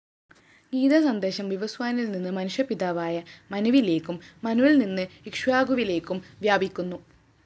ഗീതാസന്ദേശം വിവസ്വാനില്‍നിന്ന് മനുഷ്യപിതാവായ മനുവിലേക്കും മനുവില്‍നിന്ന് ഇക്ഷ്വാകുവിലേക്കും വ്യാപിക്കുന്നു